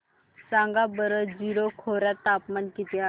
सांगा बरं जीरो खोर्यात तापमान किती आहे